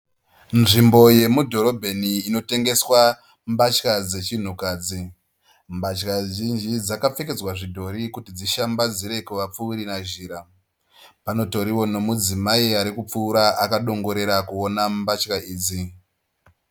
Nzvimbo yemudhorobheni inotengeswa mbatya dzechinhukadzi. Mbatya zvinji dzakapfekedzwa zvidhori kuti dzishambadzire kuvapfuuri nazhira. Panotoriwo mudzimai arikupfuura akadongorera kuona mbatya idzi.